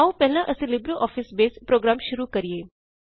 ਆਓ ਪਹਿਲਾ ਅਸੀ ਲਿਬਰੇਆਫਿਸ ਬੇਸ ਪ੍ਰੋਗਰਾਮ ਸ਼ੁਰੂ ਕਰਿਏ